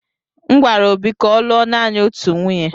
M gwara Obi ka ọ lụọ naanị otu nwunye.